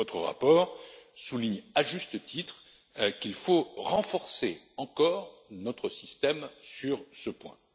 Votre rapport souligne, à juste titre, qu'il faut renforcer encore notre système sur ce point.